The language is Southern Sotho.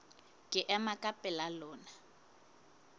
ke ema ka pela lona